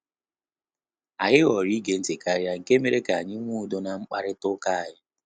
Anyị họrọ ige ntị karịa nke mere ka anyị nwe udo na mkparịta uka anyi